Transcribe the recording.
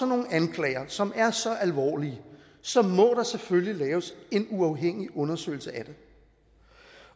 nogle anklager som er så alvorlige så må der selvfølgelig laves en uafhængig undersøgelse af det